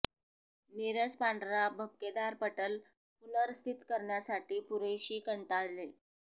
नीरस पांढरा भपकेदार पटल पुनर्स्थित करण्यासाठी पुरेशी कंटाळले